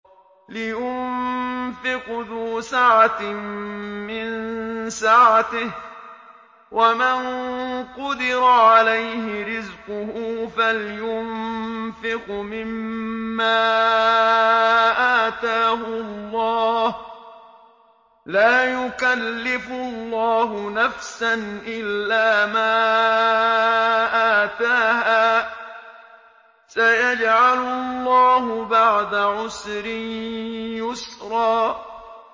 لِيُنفِقْ ذُو سَعَةٍ مِّن سَعَتِهِ ۖ وَمَن قُدِرَ عَلَيْهِ رِزْقُهُ فَلْيُنفِقْ مِمَّا آتَاهُ اللَّهُ ۚ لَا يُكَلِّفُ اللَّهُ نَفْسًا إِلَّا مَا آتَاهَا ۚ سَيَجْعَلُ اللَّهُ بَعْدَ عُسْرٍ يُسْرًا